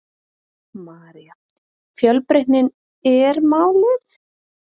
María: Fjölbreytnin er málið?